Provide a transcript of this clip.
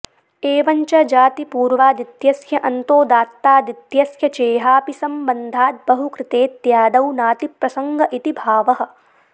एवं च जातिपूर्वादित्यस्य अन्तोदात्तादित्यस्य चेहापि संबन्धाद्बहुकृतेत्यादौ नातिप्रसङ्ग इति भावः